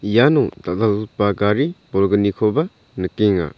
iano dal·dalgipa gari bolgnikoba nikenga.